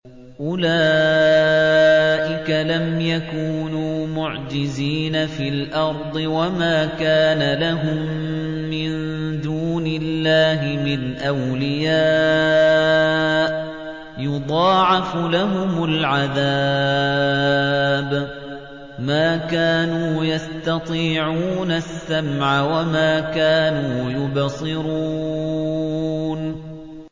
أُولَٰئِكَ لَمْ يَكُونُوا مُعْجِزِينَ فِي الْأَرْضِ وَمَا كَانَ لَهُم مِّن دُونِ اللَّهِ مِنْ أَوْلِيَاءَ ۘ يُضَاعَفُ لَهُمُ الْعَذَابُ ۚ مَا كَانُوا يَسْتَطِيعُونَ السَّمْعَ وَمَا كَانُوا يُبْصِرُونَ